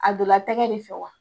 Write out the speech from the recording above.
A don la tɛgɛ de fɛ wa?